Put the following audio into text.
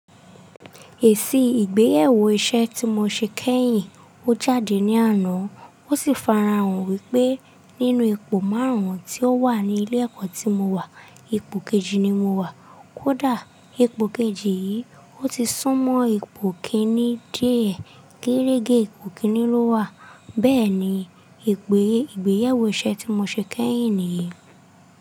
Èsì ìgbéyàwó iṣẹ́ tí mo ṣe kẹ́yìn ó jáde ní àná. Ó sì fara hàn wípé nínú ipò márùn-ún tí ó wà ní ilé ẹ̀kọ́ tí mo wà, ipò kejì ni mo wà. Kódà ipò kejì yìí, ó ti súnmọ́ ipò kíní díẹ̀. Geregé ipò kiíní ló wà. Bẹ́ẹ̀ni, èsì ìgbéyàwó iṣẹ́ tí mo ṣe kẹ́yìn nìyí.